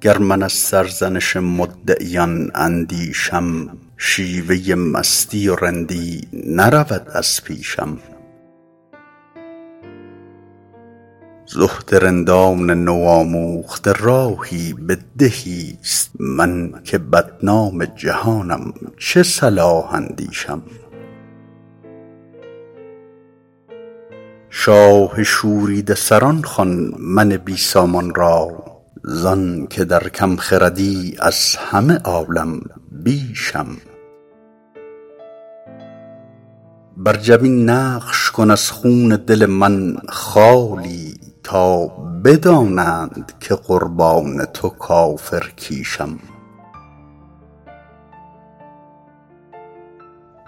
گر من از سرزنش مدعیان اندیشم شیوه مستی و رندی نرود از پیشم زهد رندان نوآموخته راهی به دهیست من که بدنام جهانم چه صلاح اندیشم شاه شوریده سران خوان من بی سامان را زان که در کم خردی از همه عالم بیشم بر جبین نقش کن از خون دل من خالی تا بدانند که قربان تو کافرکیشم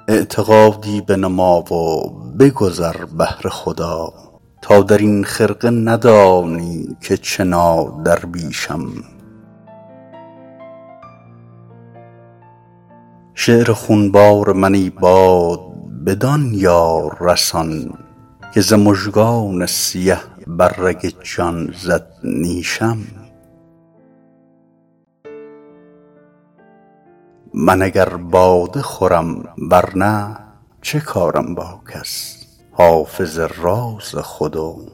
اعتقادی بنما و بگذر بهر خدا تا در این خرقه ندانی که چه نادرویشم شعر خونبار من ای باد بدان یار رسان که ز مژگان سیه بر رگ جان زد نیشم من اگر باده خورم ور نه چه کارم با کس حافظ راز خود و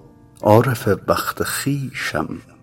عارف وقت خویشم